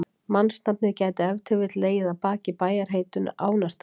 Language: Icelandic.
Mannsnafnið gæti ef til vill legið að baki bæjarheitinu Ánastaðir.